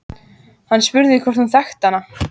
Hann spurði hvort hún þekkti hana.